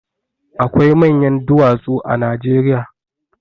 Akwai manyan duwatsu a Najeriya.